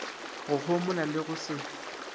go homola le go se